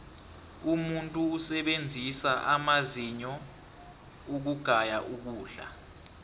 umuntu usebenzisa amazinyo ukugaya ukudla